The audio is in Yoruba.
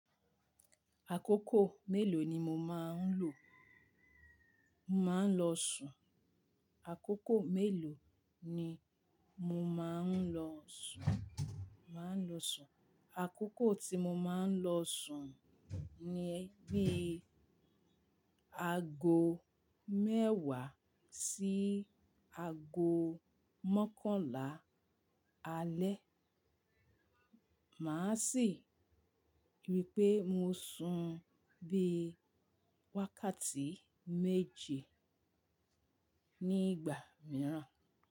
Àkókò mélòó ni mo máa ń lò? Mo máa ń lọ sùn. Àkókò mélòó ni mo máa ń lọ sùn? Mo máa ń lọ sùn. Àkókò tí mo máa ń lọ sùn ni bí i aago mẹ́wàá sí aago mọ́kànlá alẹ́. Màá sì rí pé mo sun bí i wákàtí méje nígbà mìíràn.